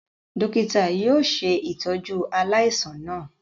Dokita yóò ṣe itọju aláìsàn náà